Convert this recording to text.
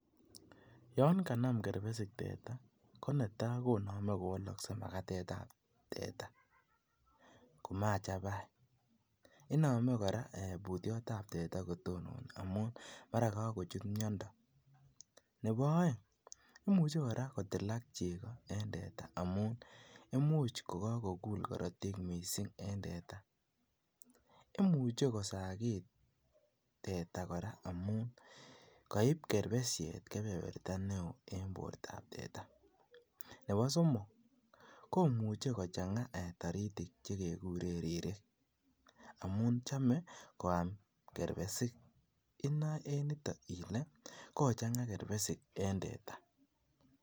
Yon kanam kerpesik teta ko netai koname kowalakse magatetab teta, ko machapai. Iname kora putyotab teta kotononi amun mara kagochut miondo. Nebo aeng, imuche kora kotilak chego en teta amun imuch kogagogul korotik mising en teta. Imuche kosagit teta kora amun kaip kerpesiet kebeberta neo eng bortab teta. Nebo somok komuche kochanga taritik che keguren ririk amun chame koam kerpesik. Inao eenitok ile, kochanga kerpesik en teta.